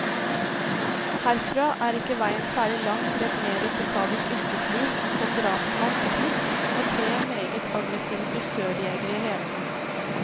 Herfra er ikke veien særlig lang til et mer risikabelt yrkesliv, som drapsmann på flukt, med tre meget aggressive dusørjegere i hælene.